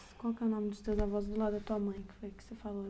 Qual que é o nome dos teus avós do lado da tua mãe, que foi o que você falou?